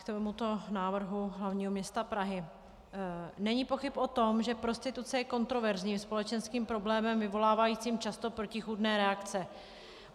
K tomuto návrhu hlavního města Prahy: Není pochyb o tom, že prostituce je kontroverzním společenským problémem vyvolávajícím často protichůdné reakce.